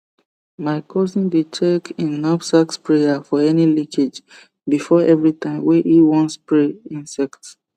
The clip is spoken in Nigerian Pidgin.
my cousin dey check hin knapsack sprayer for any leakage before everytime wey hin won spray insect